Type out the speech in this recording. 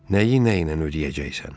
Nəyi nə ilə ödəyəcəksən?